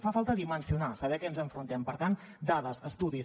fa falta dimensionar saber a què ens enfrontem per tant dades estudis